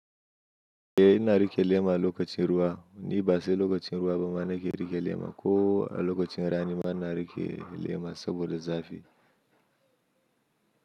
Eh ina rike lema lokacin ruwa, ni ba sai lokacin ruwa ba ma na ke rike lema ko a lokacin rani ma ina rike lema saboda zafi.